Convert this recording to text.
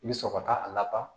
I bɛ sɔrɔ ka a laban